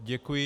Děkuji.